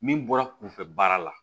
Min bɔra kunfɛ baara la